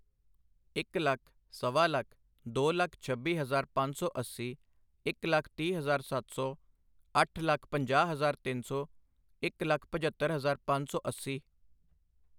ਇਕ ਲੱਖ, ਸਵਾ ਲੱਖ, ਦੋ ਲੱਖ ਛੱਬੀ ਹਜ਼ਾਰ ਪੰਜ ਸੌ ਅੱਸੀ, ਇੱਕ ਲੱਖ ਤੀਹ ਹਜ਼ਾਰ ਸੱਤ ਸੌ, ਅੱਠ ਲੱਖ ਪੰਜਾਹ ਹਜ਼ਾਰ ਤਿੰਨ ਸੌ, ਇੱਕ ਲੱਖ ਪਝੱਤਰ ਹਜ਼ਾਰ ਪੰਜ ਸੌ ਅੱਸੀ